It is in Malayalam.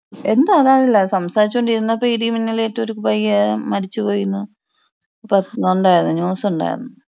എന്താന്ന് അറിയില്ല സംസാരിച്ച് ഇരുന്നപ്പോ ഇടി മിന്നൽ ഏറ്റ് ഒരു പയ്യൻ മരിച്ചു പോയീന്ന് പാ വന്നേർന്ന് ന്യൂസ് ഉണ്ടായിരുന്ന്.